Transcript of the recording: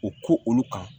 O ko olu kan